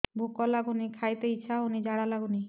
ଭୁକ ଲାଗୁନି ଖାଇତେ ଇଛା ହଉନି ଝାଡ଼ା ଲାଗୁନି